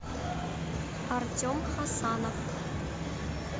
артем хасанов